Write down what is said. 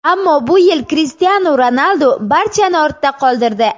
Ammo bu yil Krishtianu Ronaldu barchani ortda qoldirdi.